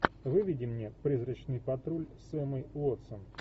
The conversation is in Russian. выведи мне призрачный патруль с эммой уотсон